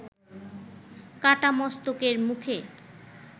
কাটা মস্তকের মুখে